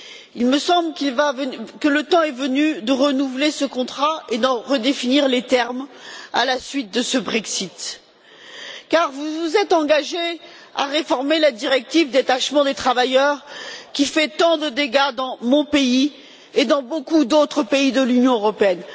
Il me semble que le temps est venu de renouveler ce contrat et d'en redéfinir les termes à la suite de ce Brexit, car vous vous êtes engagé à réformer la directive sur le détachement des travailleurs qui fait tant de dégâts dans mon pays et dans beaucoup d'autres pays de l'Union européenne.